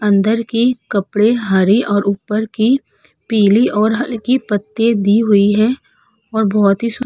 अंदर के कपड़े हरे और ऊपर के पीली और हल्की पत्ते दी हुई है और बहोत ही सुं --